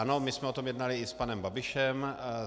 Ano, my jsme o tom jednali i s panem Babišem.